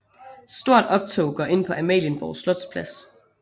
Stort optog går ind på Amalienborg Slotsplads